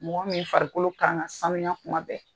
Mɔgɔ min farikolo kan ka sanuya kuma bɛɛ.